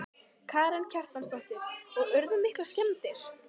Karen Kjartansdóttir: Og urðu miklar skemmdir?